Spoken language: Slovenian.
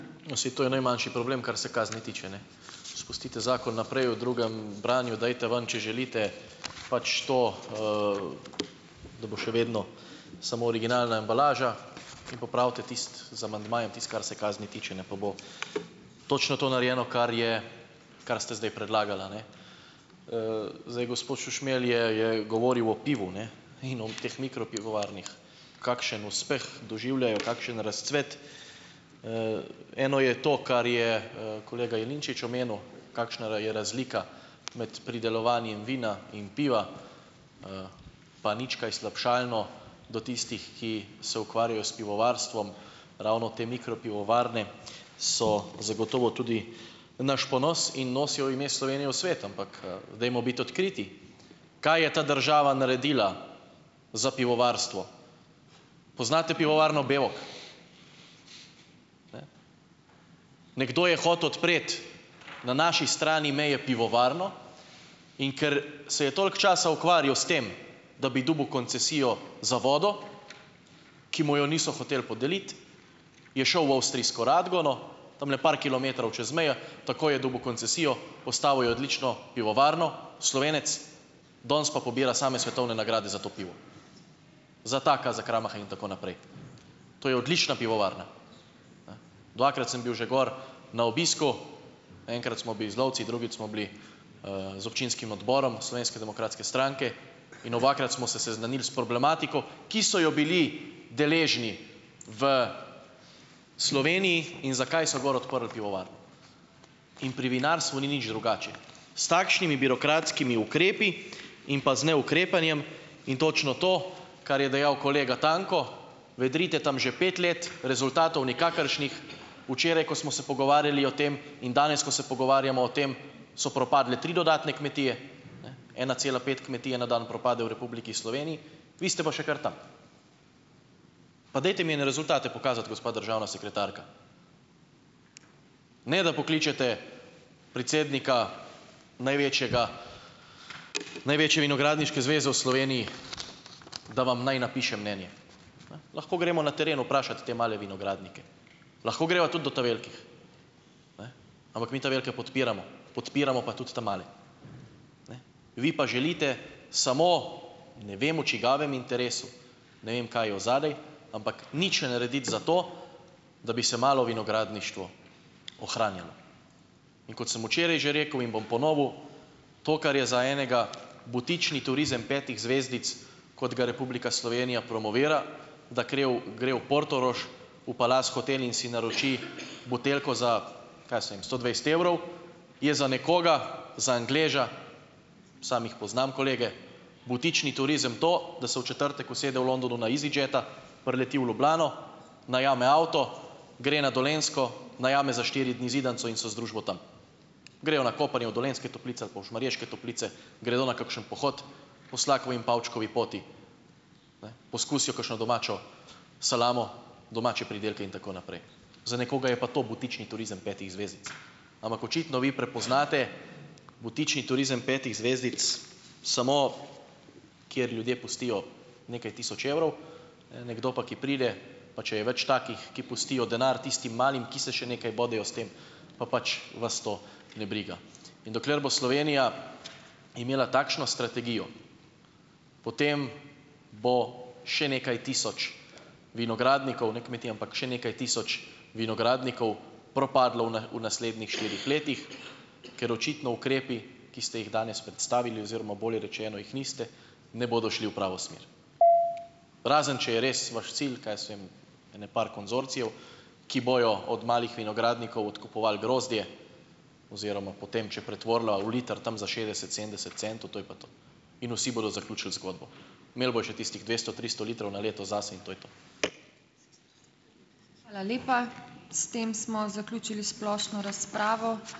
No, saj to je najmanjši problem, kar se kazni tiče, ne. Spustite zakon naprej, v drugem branju dajte ven, če želite, pač, to, da bo še vedno samo originalna embalaža in popravite tisto z amandmajem, tisto, kar se kazni tiče, ne, pa bo točno to narejeno, kar je kar ste zdaj predlagala, ne. Zdaj gospod Šušmelj je, je govoril o pivu, ne, in o teh mikropivovarnah, kakšen uspeh doživljajo, kakšen razcvet. Eno je to, kar je, kolega Jelinčič omenil, kakšna je razlika med pridelovanjem vina in piva, pa nič kaj slabšalno do tistih, ki se ukvarjajo s pivovarstvom. Ravno te mikropivovarne so zagotovo tudi naš ponos in nosijo ime Slovenije v svet. Ampak, dajmo biti odkriti, kaj je ta država naredila za pivovarstvo? Poznate pivovarno Bevok? Nekdo je hotel odpreti na naši strani meje pivovarno. In ker se je toliko časa ukvarjal s tem, da bi dobil koncesijo za vodo, ki mu jo niso hotel podeliti, je šel v avstrijsko Radgono, tamle par kilometrov čez mejo, takoj je dobil koncesijo, postavil je odlično pivovarno, Slovenec. Danes pa pobira same svetovne nagrade za to pivo. Za Taka, za Kramaha in tako naprej. To je odlična pivovarna. Dvakrat sem bil že gor na obisku, enkrat smo bi z lovci, drugič smo bili, z občinskim odborom Slovenske demokratske stranke, in obakrat smo se seznanili s problematiko, ki so jo bili deležni v Sloveniji, in zakaj so gor odprli pivovarno. In pri vinarstvu ni nič drugače, s takšnimi birokratskimi ukrepi in pa z neukrepanjem. In točno to, kar je dejal kolega Tanko, vedrite tam že pet let, rezultatov nikakršnih. Včeraj, ko smo se pogovarjali o tem, in danes, ko se pogovarjamo o tem, so propadle tri dodatne kmetije, ne? Ena cela pet kmetije na dan propade v Republiki Sloveniji, vi ste pa še kar tam. Pa dajte mi en rezultat pokazati, gospa državna sekretarka. Ne da pokličete predsednika največjega, največje vinogradniške zveze v Sloveniji, da vam naj napiše mnenje. Lahko gremo na teren vprašat te male vinogradnike. Lahko gremo tudi do ta velikih, ampak mi velike podpiramo, podpiramo pa tudi ta male. Vi pa želite samo ne vem, v čigavem interesu, ne vem, kaj je od zadaj, ampak nič ne narediti za to, da bi se malo vinogradništvo ohranjalo. In kot sem včeraj že rekel in bom ponovil, to, kar je za enega butični turizem petih zvezdic, kot ga Republika Slovenija promovira, da kre v, gre v Portorož v Palace hotel in si naroči buteljko za, kaj jaz vem, sto dvajset evrov, je za nekoga za Angleža samo jih poznam, kolege, butični turizem to, da se v četrtek usede v Londonu na Easyjeta, prileti v Ljubljano, najame avto, gre na Dolenjsko, najame za štiri dni zidanico in so z družbo tam. Grejo na kopanje v Dolenjske Toplice ali pa v Šmarješke Toplice, gredo na kakšen pohod po Slakovi in Pavčkovi poti, poskusijo kakšno domačo salamo, domače pridelke in tako naprej. Za nekoga je pa to butični turizem petih zvezdic. Ampak očitno vi prepoznate butični turizem petih zvezdic samo, kjer ljudje pustijo nekaj tisoč evrov, nekdo pa, ki pride, pa če je več takih, ki pustijo denar tistim malim, ki se še nekaj bodejo s tem, pa pač vas to ne briga. In dokler bo Slovenija imela takšno strategijo, potem bo še nekaj tisoč vinogradnikov, ne kmetij, ampak še nekaj tisoč vinogradnikov propadlo v na, v naslednjih štirih letih, ker očitno ukrepi, ki ste jih danes predstavili oziroma bolje rečeno, jih niste, ne bodo šli v pravo smer. Razen če je res vaš cilj, kaj jaz vem, ene par konzorcijev, ki bojo od malih vinogradnikov odkupovali grozdje oziroma potem, če pretvorila v liter, tam za šestdeset, sedemdeset centov, to je pa to. In vsi bodo zaključili zgodbo. Imeli bodo še tistih dvesto, tristo litrov na leto zase, in to je to.